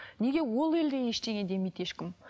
неге ол елде ештеңе демейді ешкім